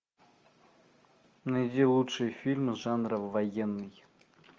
найди лучшие фильмы жанра военный